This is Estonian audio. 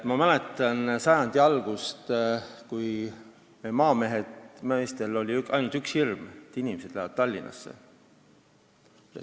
Ma mäletan sajandi algust, kui maameestel oli ainult üks hirm: et inimesed lähevad Tallinnasse.